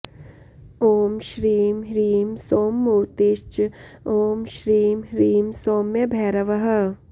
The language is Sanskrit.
ॐ श्रीं ह्रीं सोममूर्तिश्च ॐ श्रीं ह्रीं सौम्यभैरवः